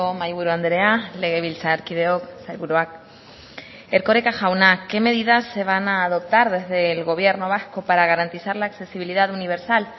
mahaiburu andrea legebiltzarkideok sailburuak erkoreka jauna qué medidas se van a adoptar desde el gobierno vasco para garantizar la accesibilidad universal